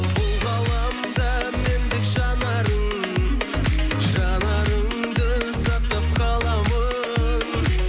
бұл ғаламда мендік жанарың жанарыңды сақтап қаламын